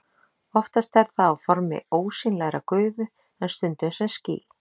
Oftast er það á formi ósýnilegrar gufu en stundum sem ský.